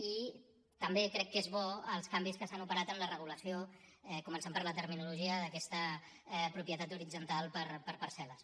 i també crec que són bons els canvis que s’han operat en la regulació començant per la terminologia d’aquesta propietat horitzontal per parcel·les